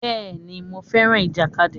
Bẹ́ẹ̀ni, mo fẹ́ràn ìjàkadì.